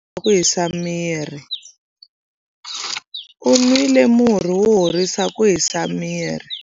U nwile murhi wo horisa ku hisa miri.